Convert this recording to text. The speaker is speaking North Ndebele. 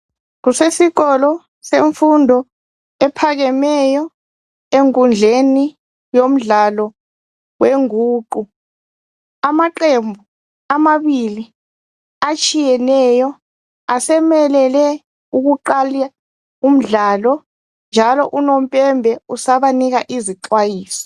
Kusesikolo semfundo ephakameyo enkundleni yomdlalo weguqu amaqembu amabili atshiyeneyo asemelele ukuqala umdlala njalo unompepe usabanika izixwayiso.